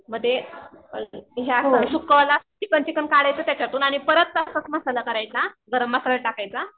म ते chicken chicken काढायचं त्यातून आणि परत तसाच मसाला करायचा गरम मसाला टाकायचा